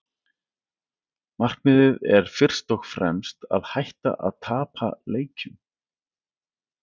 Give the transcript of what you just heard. Markmiðið er fyrst og fremst að hætta að tapa leikjum.